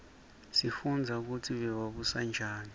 sifundza kutsi bebabusa njani